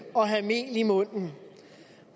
og have mel i munden